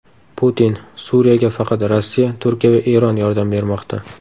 Putin: Suriyaga faqat Rossiya, Turkiya va Eron yordam bermoqda.